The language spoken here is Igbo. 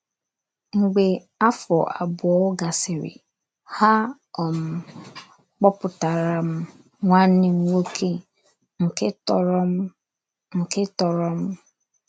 Mgbe afọ abụọ gasịrị, ha um kpoputara m nwanne m nwoke nke tọrọ m nke tọrọ m.